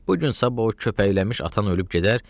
bu gün-sabah o köpəklənmiş atan ölüb gedər,